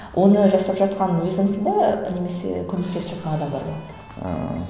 оны жасап жатқан өзіңсің бе немесе көмектесіп жатқан адам бар ма ыыы